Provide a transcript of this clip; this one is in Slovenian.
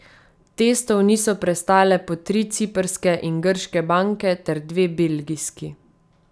Testov niso prestale po tri ciprske in grške banke ter dve belgijski.